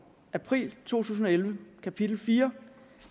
april to tusind og elleve kapitel fjerde